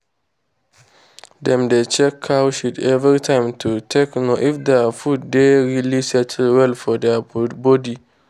dem dey check cow shit every time to take know if their food dey really settle well for their body.